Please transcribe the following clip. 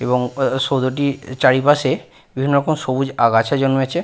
এবং ও ও সৌধটির চারিপাশে বিভিন্ন রকম সবুজ আগাছা জন্মেছে।